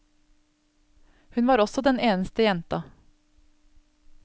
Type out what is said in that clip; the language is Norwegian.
Hun var også den eneste jenta.